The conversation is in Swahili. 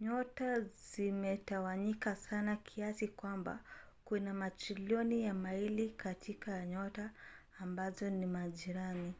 nyota zimetawanyika sana kiasi kwamba kuna matrilioni ya maili katikati ya nyota ambazo ni majirani